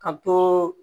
Ka to